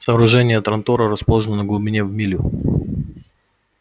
сооружения трантора расположены на глубине в милю